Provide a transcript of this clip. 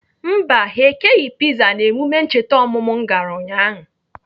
Mba, ha ekeghị piza n'emume ncheta ọmụmụ m gara ụnyaahụ